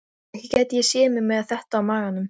Þær gengu niður í fjöru, Heiða, Lóa-Lóa og Abba hin.